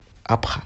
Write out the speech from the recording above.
абха